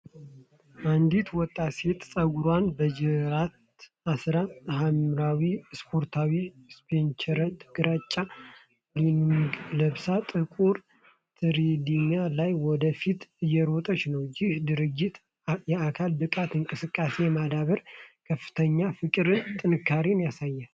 አንዲት ወጣት ሴት ጸጉሯን በጅራት አስራ፣ ሐምራዊ ስፖርተኛ ቲሸርትና ግራጫ ሌጊንግ ለብሳ፣ ጥቁር ትሬድሚል ላይ ወደ ፊት እየሮጠች ነው። ይህ ድርጊት የአካል ብቃት እንቅስቃሴ የማድረግ ከፍተኛ ፍቅርንና ጥንካሬን ያሳያል።